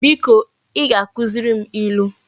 Biko I ga-akuziri m ilu